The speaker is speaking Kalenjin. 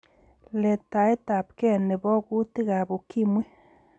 Letaetab gei ne bo kuutik ab ukimwi.